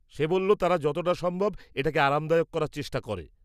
সে বলল তারা যতটা সম্ভব এটাকে আরামদায়ক করার চেষ্টা করে।